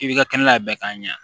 I b'i ka kɛnɛ labɛn k'a ɲɛ